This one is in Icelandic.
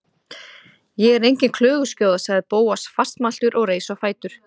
Ég er engin klöguskjóða- sagði Bóas fastmæltur og reis á fætur.